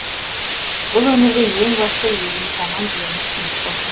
бұл өмірде ең басты еліміз аман жеріміз тыныш болсын